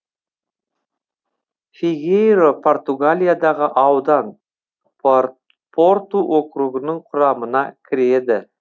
фигейро португалиядағы аудан порту округінің құрамына кіреді